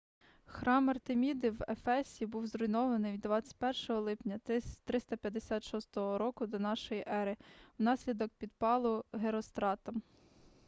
храм артеміди в ефесі був зруйнований 21 липня 356 р до н е внаслідок підпалу геростратом